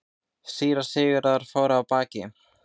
Síra Sigurður fór af baki.